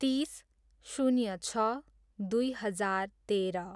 तिस, शून्य छ, दुई हजार तेह्र